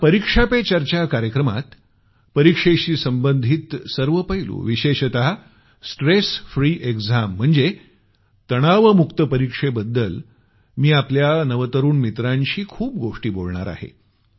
या परीक्षा पे चर्चा कार्यक्रमात परीक्षेशी संबंधित सर्व पैलू विशेषत स्ट्रेस फ्री एक्झाम म्हणजे तणावमुक्त परीक्षेबद्दल मी आपल्या नवतरुण मित्रांशी खूप गोष्टी बोलणार आहे